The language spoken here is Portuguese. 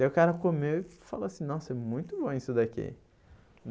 Daí o cara comeu e falou assim, nossa, é muito bom isso daqui.